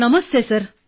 ನಮಸ್ತೇ sir